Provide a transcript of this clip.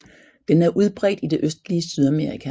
Den er udbredt i det østlige Sydamerika